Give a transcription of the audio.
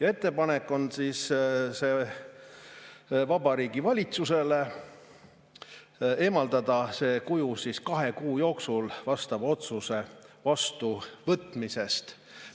On ettepanek Vabariigi Valitsusele eemaldada see kuju kahe kuu jooksul vastava otsuse vastuvõtmisest.